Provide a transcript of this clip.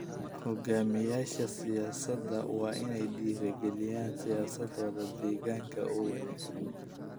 Hoggaamiyeyaasha siyaasadda waa in ay dhiirrigeliyaan siyaasado deegaanka oo wanaagsan.